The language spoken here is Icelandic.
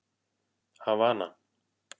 Havana